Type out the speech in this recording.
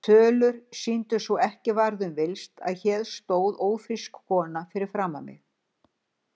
Tölur sýndu svo ekki var um villst, að hér stóð ófrísk kona fyrir framan mig.